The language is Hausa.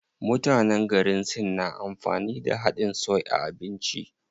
Mutanen garin Sin na amfani da haɗin soy a abinci.